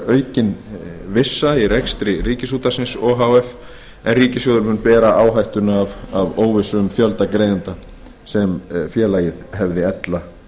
aukin vissa í rekstri ríkisútvarpsins o h f en ríkissjóður mun bera áhættuna af óvissu um fjölda greiðenda sem félagið hefði ella